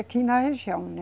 Aqui na região, né?